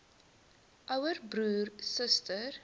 ouer broer suster